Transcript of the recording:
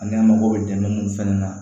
Ani an mago bɛ dɛmɛ mun fana na